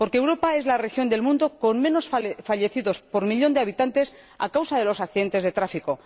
Porque Europa es la región del mundo con menos fallecidos por millón de habitantes a causa de los accidentes de tráfico.